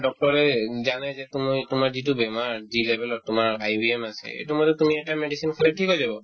doctor য়ে জানে যে তুমি তোমাৰ যিটো বেমাৰ যি level ত তোমাৰ আছে এইটো মতে তুমি এটা medicine খালে থিক হৈ যাব